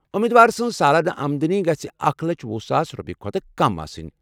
اُمیٖد وار سٕنٛز سالانہٕ آمدٔنی گٔژھۍ اکھَ لچھ ۄہُ ساس رۄپیہِ کھۄتہٕ کم آسٕنۍ